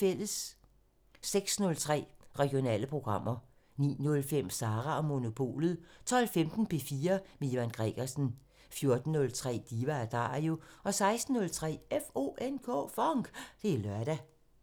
06:03: Regionale programmer 09:05: Sara & Monopolet 12:15: P4 med Ivan Gregersen 14:03: Diva & Dario 16:03: FONK! Det er lørdag